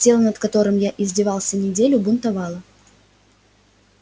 тело над которым я издевался неделю бунтовало